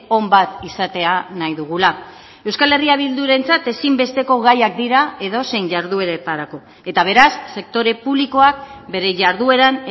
on bat izatea nahi dugula euskal herria bildurentzat ezinbesteko gaiak dira edozein jardueretarako eta beraz sektore publikoak bere jardueran